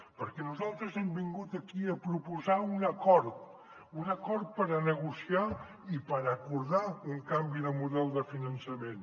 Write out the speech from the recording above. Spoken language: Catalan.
perquè nosaltres hem vingut aquí a proposar un acord un acord per negociar i per acordar un canvi de model de finançament